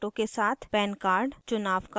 pan card चुनाव card